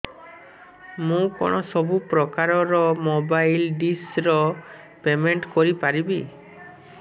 ମୁ କଣ ସବୁ ପ୍ରକାର ର ମୋବାଇଲ୍ ଡିସ୍ ର ପେମେଣ୍ଟ କରି ପାରିବି